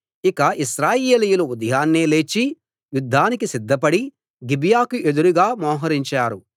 ఇక ఇశ్రాయేలీయులు ఉదయాన్నే లేచి యుద్ధానికి సిద్ధపడి గిబియాకు ఎదురుగా మొహరించారు